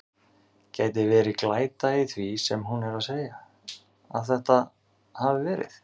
Gæti verið glæta í því sem hún er að segja. að þetta hafi verið.